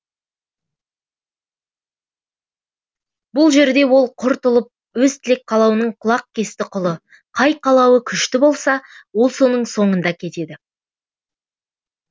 бұл жерде ол құр тұлып өз тілек қалауының құлақкесті құлы қай қалауы күшті болса ол соның соңында кетеді